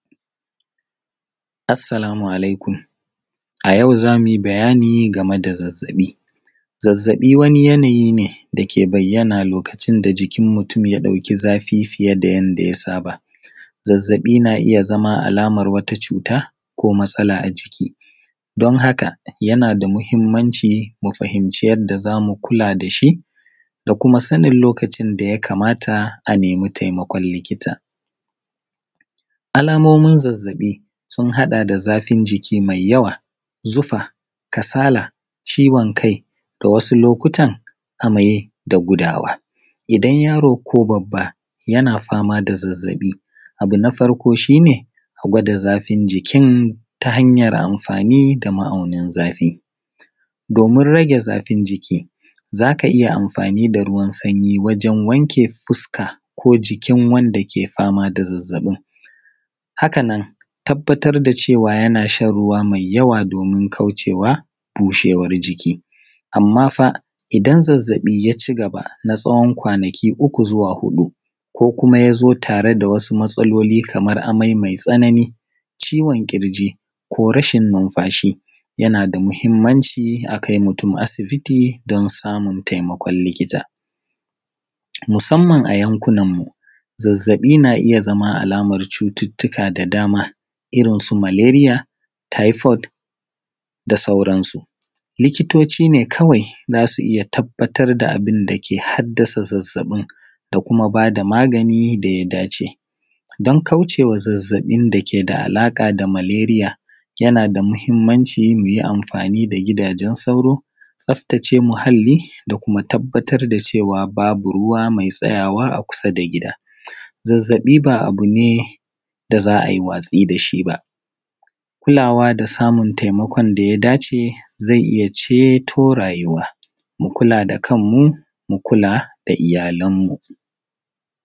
Assalamu alaikum, a yau za mu yi bayani game da zazzaɓii. Zazzaɓii wani yanayi ne dake bayyana lokaʧin da jikin mutum ya ɗauki zafii fiye da yanda ya saba. Zazzaɓii naa iya zama alamar wata cuuta ko matsala a jiki, don haka yanaa da muhimmanci mu fahimci yadda zamu kulaa da shi da kuma sanin lokacin daya kamata a nemi taimakon likita. Alamomin zazzaɓii sun haɗa da zafin jiki mai yawa zufaa, kasaala, ciwon kai da wasu lokutan amai da gudawa. Idan yaro ko babba yana famaa da zazzaɓi abu na farko shi ne a gwada zafin jikin ta hanyar amfaani da ma’aunin zafii doomin ragee zafin jiki za ka iya amfaani da ruwan sanyi wajen wanke fuska ko jikin wanda ke famaa da zazzaɓin. Hakanan tabbatar da cewa yanaa shan ruwa mai yawa doomin kaucewa busheewar jiki, amma faa idan zazzaɓi ya cigaba na tsawon kwanaki uku zuwa huɗu ko kuma ya zo tare da wasu matsaloli kamar amai mai tsanani, ciwon ƙirji ko rashin numfashi, yanaa da muhimmanci a kai mutum asibiti don samun taimakon likita. Musamman a yankunanmu zazzaɓi na iya zama alamar cututtuka da damaa irinsu malaria, typhoid, da sauransu. Likitoci ne kawai za su iya tabbatar da abin da ke haddasa zazzaɓin da kuma baa da maganin da ya dace. Don kaucewa zazzaɓin dake da alaƙa da malaria yanaa da muhimmanci mu yi amfaani da gidaajen sauro, tsaftace muhalli da kuma tabbatar da cewa babu ruwa mai tsayawa a kusa da gida. Zazzaɓi ba abu ne da za a yi watsi da shi baa, kulaawa da samun taimakon da ya da cee zai iya ceeto raayuwa, mu kulaa da kan mu, mu kulaa da iyalanmu.